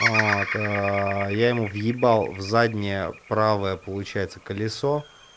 вот я ему въебал в заднее правое получается колесо